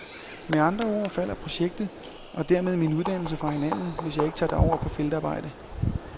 Med andre ord falder projektet, og dermed min uddannelse, fra hinanden, hvis ikke jeg tager derover på feltarbejde.